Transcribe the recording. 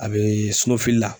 A bɛ la.